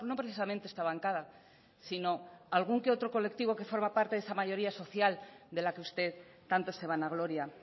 precisamente esta bancada sino algún que otro colectivo que forma parte de esa mayoría social de la que usted tanto se vanagloria